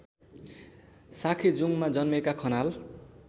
साँखेजुङमा जन्मेका खनाल